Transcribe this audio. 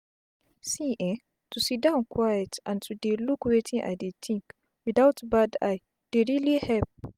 see eh to siddon quiet and to dey look wetin i dey think without bad eye dey reali help.